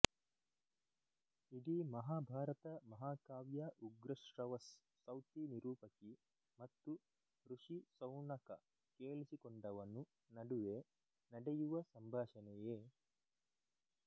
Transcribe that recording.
ಇಡೀ ಮಹಾಭಾರತ ಮಹಾಕಾವ್ಯ ಉಗ್ರಶ್ರವಸ್ ಸೌತಿ ನಿರೂಪಕಿ ಮತ್ತು ಋಷಿ ಸೌನಕ ಕೇಳಿಸಿಕೊಂಡವನು ನಡುವೆ ನಡೆಯುವ ಸಂಭಾಷಣೆಯೇ